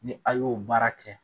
Ni a y'o baara kɛ